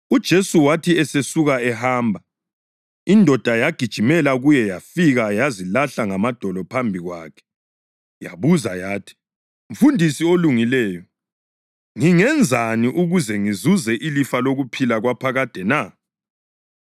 UJesu wathi esesuka ehamba, indoda yagijimela kuye yafika yazilahla ngamadolo phambi kwakhe. Yabuza yathi, “Mfundisi olungileyo, ngingenzani ukuze ngizuze ilifa lokuphila kwaphakade na?”